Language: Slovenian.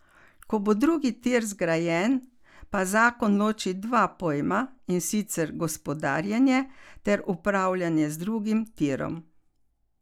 Ko bo drugi tir zgrajen, pa zakon loči dva pojma, in sicer gospodarjenje ter upravljanje z drugim tirom.